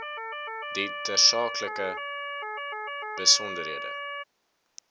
die tersaaklike besonderhede